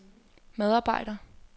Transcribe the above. medarbejder